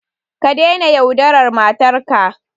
Ka daina yaudarar matarka.